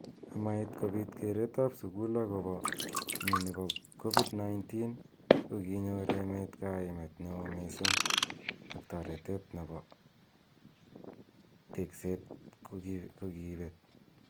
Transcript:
Amait kobit keret ab sukul akobo mnyeni bo COVID-19 kokinyor emet kaimet neo missing ak taretet nebo tekset kokibet.